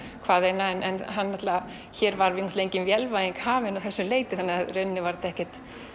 hvaðeina en hér var engin vélvæðing hafin að þessu leyti þettta var ekki